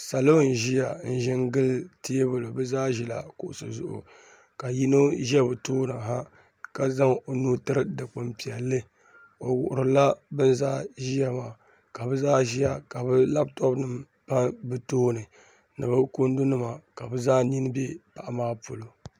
Salo n ʒiya n ʒi n gili teebuli bi zaa ʒila kuɣusi zuɣu ka yino ʒɛ bi tooni ha ka zaŋ o nuu tiri dikpuni piɛlli o wuhurila bin zaa ʒiya maa ka bi zaa ʒiya ka bi labtop nim tam bi tooni ni bi kundu nima ka bi zaa nin bɛ paɣa maa polo